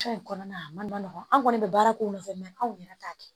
in kɔnɔna na a man nɔgɔn an kɔni bɛ baara k'o nɔfɛ mɛ anw yɛrɛ t'a kɛ